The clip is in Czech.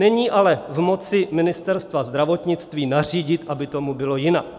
Není ale v moci Ministerstva zdravotnictví nařídit, aby tomu bylo jinak.